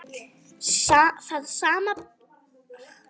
Það samband stóð stutt.